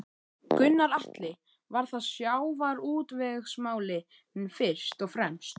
Gunnar Atli: Var það sjávarútvegsmálin fyrst og fremst?